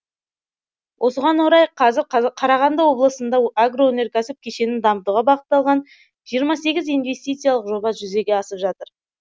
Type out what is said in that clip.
осыған орай қазір қарағанды облысында агроөнеркәсіп кешенін дамытуға бағытталған жиырма сегіз инвестициялық жоба жүзеге асып жатыр